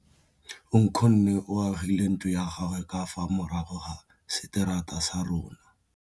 Nkgonne o agile ntlo ya gagwe ka fa morago ga seterata sa rona.